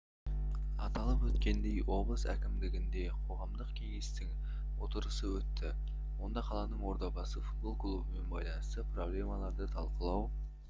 аталып өткендей облыс әкімдігінде қоғамдық кеңестің отырысы өтті онда қаланың ордабасы футбол клубымен байланысты проблемаларды талқылау